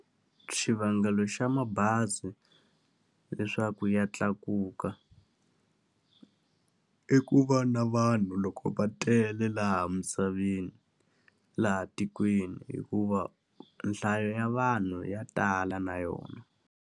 Xivangelo xa mabazi leswaku ya tlakuka, i ku va na vanhu loko va tele laha misaveni laha tikweni. Hikuva nhlayo ya vanhu ya tala na yona.